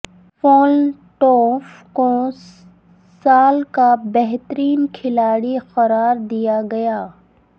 Flintoff کو سال کا بہترین کھلاڑی قرار دیا گیا